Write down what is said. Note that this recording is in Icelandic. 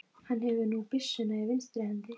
Hann hefur nú byssuna í vinstri hendi.